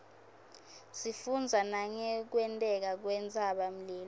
sifundza nangekwenteka kwentsaba mlilo